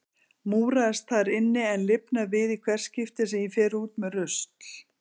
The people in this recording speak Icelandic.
Múraðist þar inni en lifnar við í hvert skipti sem ég fer út með rusl.